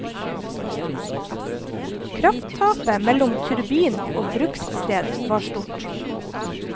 Krafttapet mellom turbin og brukssted var stort.